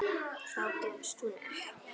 Þá gefst hún upp.